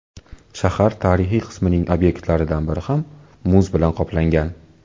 Shahar tarixiy qismining obyektlaridan biri ham muz bilan qoplangan.